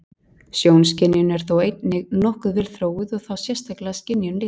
Sjónskynjun er þó einnig nokkuð vel þróuð og þá sérstaklega skynjun lita.